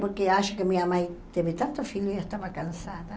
Porque acho que minha mãe teve tantos filhos e estava cansada.